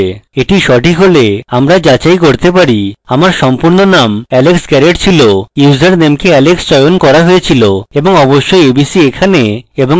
এটি সঠিক হলে আমরা যাচাই করতে পারি আমার সম্পূর্ণ নাম alex garrett ছিল username কে alex চয়ন করা হয়েছিল এবং অবশ্যই abc এখানে এবং এখানে